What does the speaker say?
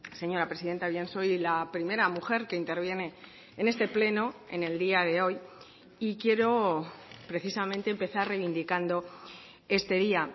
señora presidenta bien soy la primera mujer que interviene en este pleno en el día de hoy y quiero precisamente empezar reivindicando este día